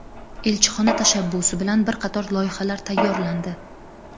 Elchixona tashabbusi bilan bir qator loyihalar tayyorlandi.